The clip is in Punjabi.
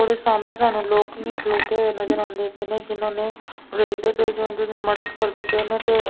ਓਹਦੇ ਸਾਹਮਣੇ ਸਾਨੂੰ ਲੋਕੀ ਵੀ ਖਲੌਤੇ ਹੋਏ ਨਜ਼ਰ ਆਂਦੇ ਪਏ ਨੇ ਜਿਹਨਾਂ ਨੇਂ ਵੇਖਦੇ ਪਏ ਮਦੱਦ ਕਰਦੇ ਪਏ ਨੇ ਤੇ।